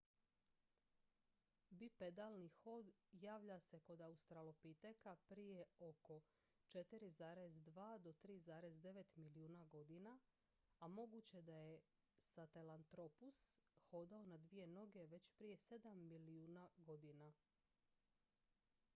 bipedalni hod javlja se kod australopiteka prije oko 4,2 - 3,9 milijuna godina a moguće je da je sahelanthropus hodao na dvije noge već prije sedam milijuna godina